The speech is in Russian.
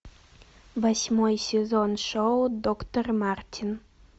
восьмой сезон шоу доктор мартин